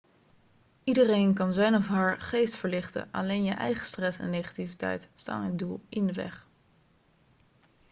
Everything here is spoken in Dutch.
iedereen kan zijn of haar geest verlichten alleen je eigen stress en negativiteit staan dit doel in de weg